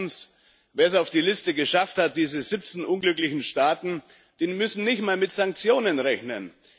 Und zweitens Wer es auf die Liste geschafft hat diese 17 unglücklichen Staaten muss nicht mal mit Sanktionen rechnen.